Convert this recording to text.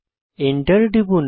enter টিপুন